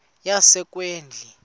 yasekwindla